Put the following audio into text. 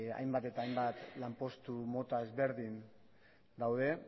hainbat eta hainbat lanpostu mota ezberdin daude